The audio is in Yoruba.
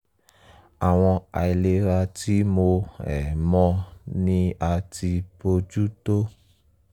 àwọn àìlera tí mo um mọ ni a ti bojú tó